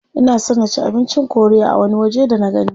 Ina son na ci abincin korea a wani waje da nagani.